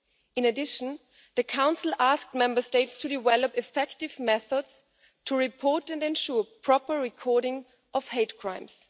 In addition, the Council has asked Member States to develop effective methods to report, and ensure the proper recording of, hate crimes.